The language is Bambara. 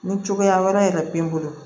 Ni cogoya wɛrɛ yɛrɛ b'i bolo